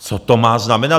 Co to má znamenat?